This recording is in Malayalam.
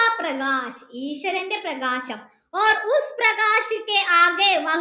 ഈശ്വരൻ്റെ പ്രകാശം